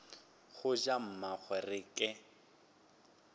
ga ja mmagwe re ke